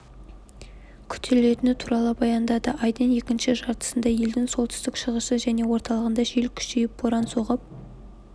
күтілетіні туралы баяндады айдың екінші жартысында елдің солтүстігі шығысы және орталығында жел күшейіп боран соғып